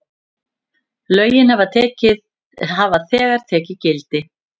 Lögin hafa þegar tekið gildi.